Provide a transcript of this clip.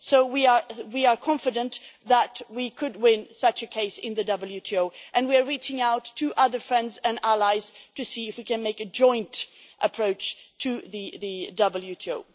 So we are confident that we could win such a case in the WTO, and we are reaching out to other friends and allies to see if we can make a joint approach to the WTO.